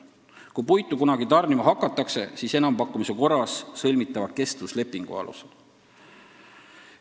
Kui puitu kunagi tarnima hakatakse, siis enampakkumise korras sõlmitava kestvuslepingu alusel.